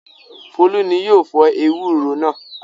Folú ni yóò fọ ewúro náà.